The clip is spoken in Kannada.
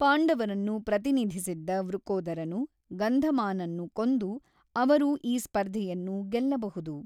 ಪಾಂಡವರನ್ನು ಪ್ರತಿನಿಧಿಸಿದ್ದ ವೃಕೋದರನು ಗಂಧಮಾನನ್ನು ಕೊಂದು ಅವರು ಈ ಸ್ಪರ್ಧೆಯನ್ನು ಗೆಲ್ಲಬಹುದು.